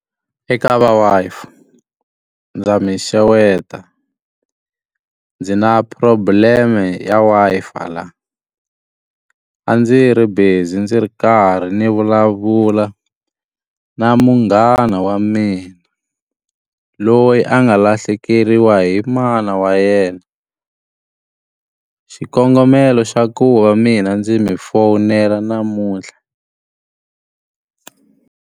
Eka va Wi-Fi ndza mi xeweta. Ndzi na problem e ya Wi-Fi laha. A ndzi ri busy ndzi ri karhi ni vulavula na munghana wa mina, loyi a nga lahlekeriwa hi mana wa yena. Xikongomelo xa ku va mina ndzi mi fowunela namuntlha.